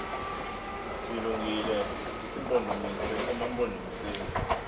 silungile isimpondomise emampondomiseni